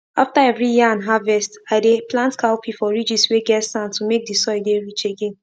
after every yan harvesti dey plant cowpea for ridges whey get sand to make the soil dey rich again